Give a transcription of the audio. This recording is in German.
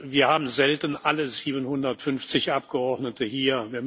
Wir haben selten alle 750 Abgeordneten hier.